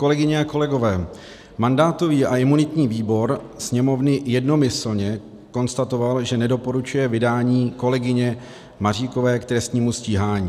Kolegyně a kolegové, mandátový a imunitní výbor Sněmovny jednomyslně konstatoval, že nedoporučuje vydání kolegyně Maříkové k trestnímu stíhání.